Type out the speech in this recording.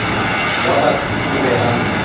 wa batho o be a